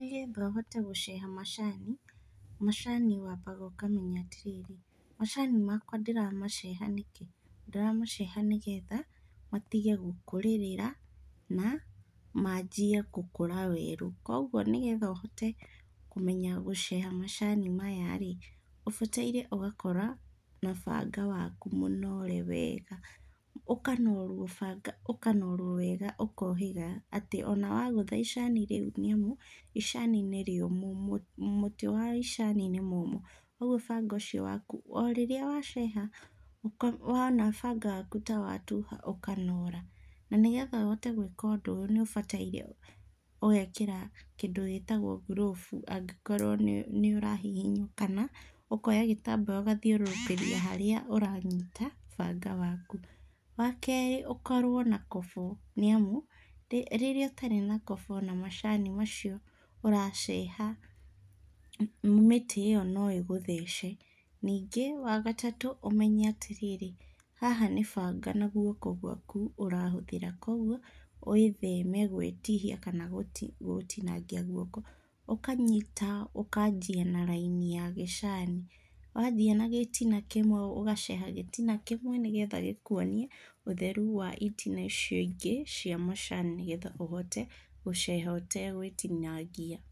Nĩgetha ũhote gũceha macani, macani wambaga ũkamenya atĩrĩrĩ, macani makwa ndĩramaceha nĩkĩ? Ndiramaceha nĩgetha matige gũkũrĩrĩra na manjie gũkũra werũ. Koguo nĩgetha ũhote kũmenya gũceha macani maya-rĩ, ũbataire ũgakora na banga waku mũnore wega, ũkanorwo banga ũkanorwo wega ũkohiga atĩ ona wagũtha icani rĩu nĩamu, icani nĩ rĩũmũ mũtĩ wa icani nĩ mũmũ. Ũguo banga ũcio wakũ o rĩrĩa waceha, wona banga waku ta watuha ũkanora. Na nĩgetha ũhote gwĩka ũndũ ũyũ nĩũbataire ũgekĩra kĩndũ gĩtagwo grove angĩkorwo nĩũrahihinywo kana ũkoya gĩtambaya ũgathiũrũrũkĩria harĩa ũranyita banga waku. Wakerĩ ũkorwo na kobo nĩ amũ rĩrĩa ũtarĩ na kobo ona macani macio ũraceha mĩtĩ ĩyo no ĩgũthece. Ningĩ wa gatatũ ũmenye atĩrĩrĩ, haha nĩ banga na guoko gwaku ũrahũthĩra. Koguo wĩtheme gwĩtihia kana gũtinangia guoko. Ukanyita ũkanjia na raini ya gĩcani. Wathiĩ na gĩtina kĩmwe ũgaceha gĩtina kĩmwe nigetha gĩkuonie ũtheru wa itina icio ingĩ cia macani nĩgetha ũhote gũceha ũtegwitinangia.